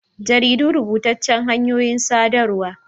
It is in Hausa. Jaridu rubutaccan hanyoyin saɗarwa n